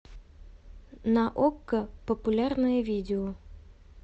на окко популярные видео